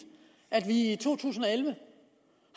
at vi i to tusind og elleve